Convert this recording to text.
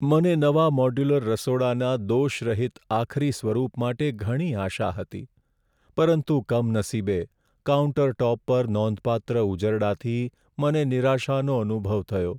મને નવા મોડ્યુલર રસોડાના દોષરહિત આખરી સ્વરૂપ માટે ઘણી આશા હતી, પરંતુ કમનસીબે, કાઉન્ટરટૉપ પર નોંધપાત્ર ઉજરડાથી મને નિરાશાનો અનુભવ થયો.